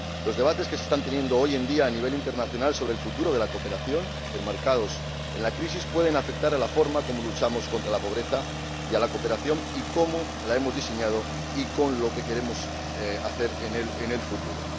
Los debates que se están manteniendo hoy en día a nivel internacional sobre el futuro de la cooperación, enmarcados en la crisis, pueden afectar a la forma en que luchamos contra la pobreza, y a la cooperación a cómo la hemos diseñado y a lo que queremos hacer en ella en el futuro.